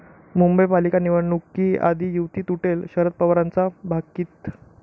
मुंबई पालिका निवडणुकीआधी युती तुटेल, शरद पवारांचं भाकीत